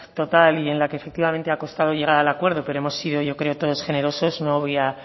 total y en la que efectivamente ha costado llegar al acuerdo pero hemos sido yo creo todos generosos no voy a